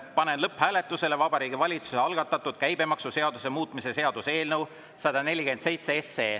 Panen lõpphääletusele Vabariigi Valitsuse algatatud käibemaksuseaduse muutmise seaduse eelnõu 147.